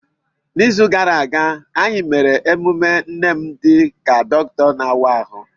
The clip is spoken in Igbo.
N'izu gara aga, anyị mere emume nne m dị ka dọkịta na-awa ahụ.